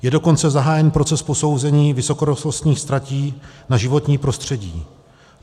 Je dokonce zahájen proces posouzení vysokorychlostních tratí na životní prostředí.